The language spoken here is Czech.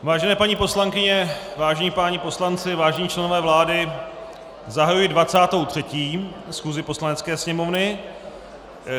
Vážené paní poslankyně, vážení páni poslanci, vážení členové vlády, zahajuji 23. schůzi Poslanecké sněmovny.